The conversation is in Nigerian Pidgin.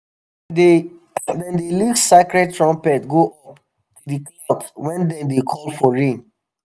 dey dem dey lift sacred trumpet go up to the clouds when dem dey call for rain.